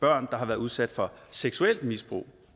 børn der har været udsat for seksuelt misbrug